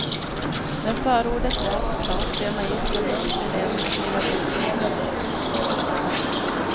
När förordet lästs klart ber magistern lugnt eleverna att riva ut det ur böckerna. punkt